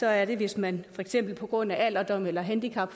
er det hvis man for eksempel på grund af alderdom eller handicap